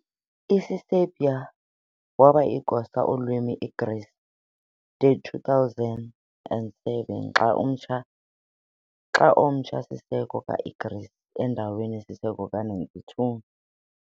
Isiserbia waba igosa ulwimi Igreece de 2007 xa omtsha - Siseko ka-Igreece endaweni-Siseko ka-1992.